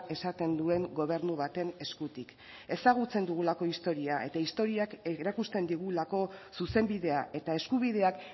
esaten duen gobernu baten eskutik ezagutzen dugulako historia eta historiak erakusten digulako zuzenbidea eta eskubideak